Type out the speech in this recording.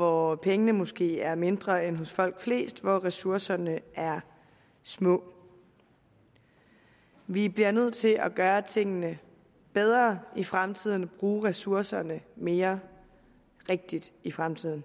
hvor pengene måske er mindre end hos folk flest og hvor ressourcerne er små vi bliver nødt til at gøre tingene bedre i fremtiden og bruge ressourcerne mere rigtigt i fremtiden